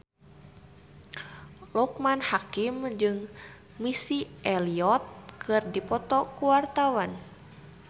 Loekman Hakim jeung Missy Elliott keur dipoto ku wartawan